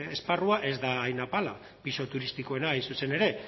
esparrua ez da hain apala pisu turistikoena hain zuzen ere